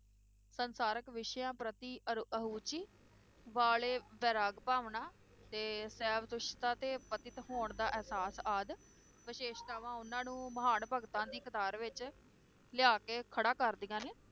ਸੰਸਾਰਕ ਵਿਸ਼ਿਆਂ ਪ੍ਰਤੀ ਅਰ~ ਅਹੁਚੀ ਵਾਲੇ ਵੈਰਾਗ ਭਾਵਨਾ ਤੇ ਤੇ ਪਤਿਤ ਹੋਣ ਦਾ ਇਹਸਾਸ ਆਦਿ ਵਿਸ਼ੇਸ਼ਤਾਵਾਂ ਉਹਨਾਂ ਨੂੰ ਮਹਾਨ ਭਗਤਾਂ ਦੀ ਕਤਾਰ ਵਿਚ ਲਿਆ ਕੇ ਖੜਾ ਕਰਦੀਆਂ ਨੇ